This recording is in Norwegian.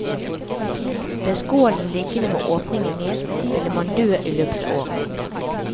Ble skålen liggende med åpningen ned, ville man dø i løpet av året.